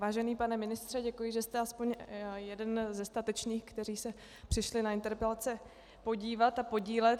Vážený pane ministře, děkuji, že jste aspoň jeden ze statečných, kteří se přišli na interpelace podívat a podílet.